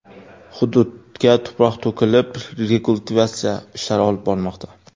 Hududga tuproq to‘kilib, rekultivatsiya ishlari olib borilmoqda.